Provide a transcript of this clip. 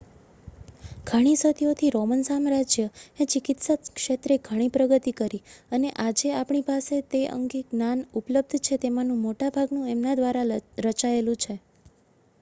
ઘણી સદીઓથી રોમન સામ્રાજ્યએ ચિકિત્સા ક્ષેત્રે ઘણી પ્રગતિ કરી અને આજે આપણી પાસે તે અંગે જે જ્ઞાન ઉપલબ્ધ છે તેમાંનું મોટાભાગનું એમના દ્વારા રચાયેલું છે